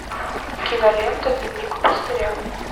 кинолента дневник пастыря